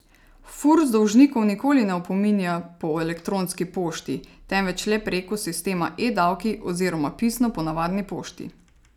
Furs dolžnikov nikoli ne opominja po elektronski pošti, temveč le preko sistema eDavki oziroma pisno po navadni pošti.